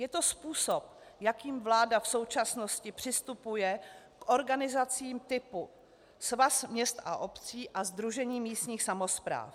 Je to způsob, jakým vláda v současnosti přistupuje k organizacím typu Svaz měst a obcí a Sdružení místních samospráv.